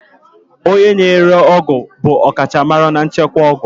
Onye na-ere ọgwụ bụ ọkachamara na nchịkwa ọgwụ.